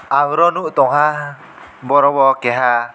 aboro nugo tongha borok bo keha.